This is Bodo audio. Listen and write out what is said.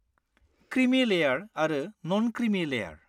क्रिमि लेयार आरो न'न क्रिमि लेयार।